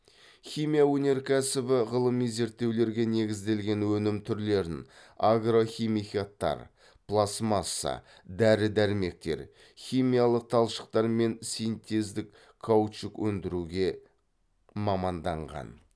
химия өнеркәсібі ғылыми зерттеулерге негізделген өнім түрлерін агрохимикаттар пластмасса дәрі дәрмектер химиялы талшықтар мен синтездік каучук өндіруге маманданған